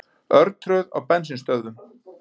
Örtröð á bensínstöðvum